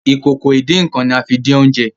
Ìkòkò ìdín-nǹkan ní a fín dín Oúnjẹ